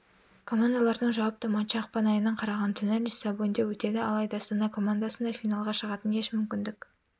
командалардың жауапты матчы ақпан айының қараған түні лиссабонде өтеді алайда астана командасында финалға шығатын еш мүмкіндік